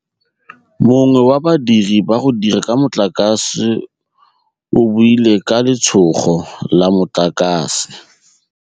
Mongwe wa badiri ba go dira ka motlakase o boaile ke letshôgô la motlakase.